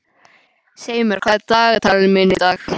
Seimur, hvað er í dagatalinu mínu í dag?